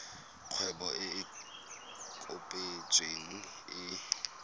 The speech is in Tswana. kgwebo e e kopetsweng e